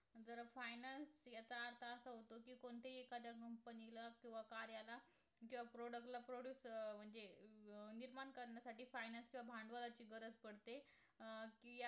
जर Finance याचा अर्थ असा होतो कि कोणतेही एखादं Company ला किंवा कार्याला किंवा Product ला Produce अं म्हणजे अं निर्माण करण्यासाठी Finance किंवा भांडवलाची गरज पडते अं कि